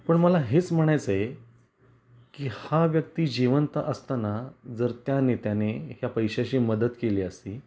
पण मला हेच म्हणायच आहे की हा व्यक्ती जिवंत असताना जर त्या नेत्याने या पैश्याची मदत केली असती,